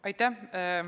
Aitäh!